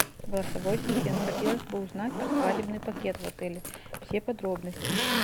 голосовой ассистент хотелось бы узнать про свадебный пакет в отеле все подробности